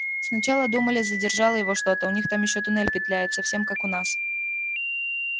сначала думали задержало его что-то у них там ещё туннель петляет совсем как у нас